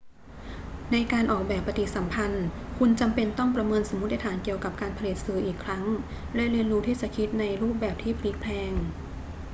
ในการออกแบบปฏิสัมพันธ์ คุณจำเป็นต้องประเมินสมมติฐานเกี่ยวกับการผลิตสื่ออีกครั้งและเรียนรู้ที่จะคิดในรูปแบบที่พลิกแพลง